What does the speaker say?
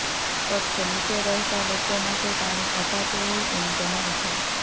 ફ્ક્ત નીચે રહેતા લોકો માટે પાણી અપાતું હોય એમ જણાઈ છે